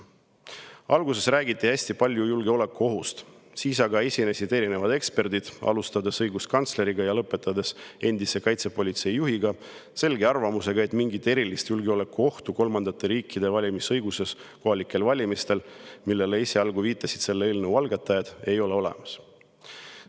Alguses räägiti hästi palju julgeolekuohust, siis aga esinesid erinevad eksperdid, alustades õiguskantsleriga ja lõpetades endise kaitsepolitseijuhiga, avaldades selget arvamust, et mingit erilist julgeolekuohtu kolmandate riikide valimisõiguse tõttu kohalikel valimistel, nagu esialgu viitasid selle eelnõu algatajad, ei ole olemas.